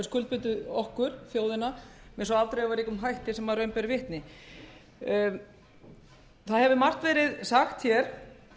skuldbundið okkur þjóðina með svo afdrifaríkum hætti sem raun ber vitni það hefur margt verið sagt hér